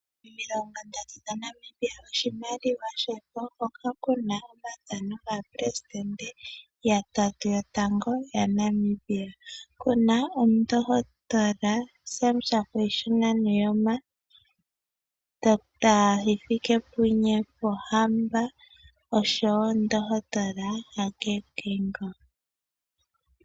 Oodola omilongondatu dhaNamibia oshimaliwa shefo hoka ku na omathano gaapelesidente yatatu yotango yaNamibia. Oku na omundohotola Sam Shafiishuna Nuujoma, Dr Hifikepunye Pohamba noshowo omundohotola Hage Geingob.